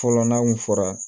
Fɔlɔ n'a kun fɔra